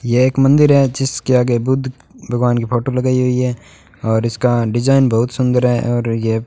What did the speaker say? यह एक मंदिर है जिसके आगे बुद्ध भगवान की फोटो लगाई हुई है और इसका डिजाइन बहुत सुंदर है और यह --